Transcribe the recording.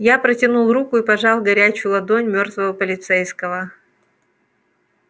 я протянул руку и пожал горячую ладонь мёртвого полицейского